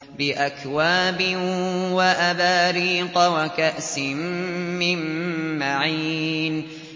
بِأَكْوَابٍ وَأَبَارِيقَ وَكَأْسٍ مِّن مَّعِينٍ